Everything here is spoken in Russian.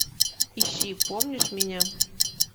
ищи помнишь меня